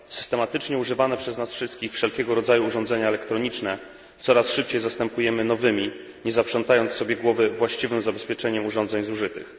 Systematycznie używane przez nas wszystkich wszelkiego rodzaju urządzenia elektroniczne coraz szybciej zastępujemy nowymi, nie zaprzątając sobie głowy właściwym zabezpieczeniem urządzeń zużytych.